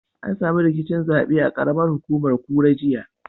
An samu rikicin zaɓe a ƙaramar hukumar kura, jiya.